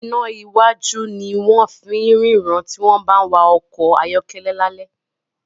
iná wájú ní wón fín ríran tí wón bá wá ọkọ̀ ayọ́kẹ́lẹ́ lale